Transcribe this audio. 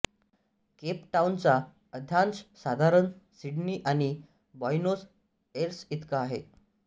Cape टाउनचा अक्षांश साधारण सिडनी आणि बॉयनोस एर्सइतका आहे